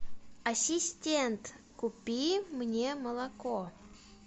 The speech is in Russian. ассистент купи мне молоко